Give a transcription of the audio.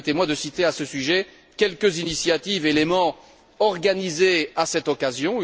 Permettez moi de citer à ce sujet quelques initiatives et éléments organisés à cette occasion.